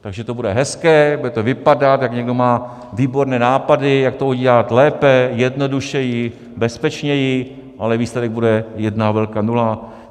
Takže to bude hezké, bude to vypadat, jak někdo má výborné nápady, jak to udělat lépe, jednodušeji, bezpečněji, ale výsledek bude jedna velká nula.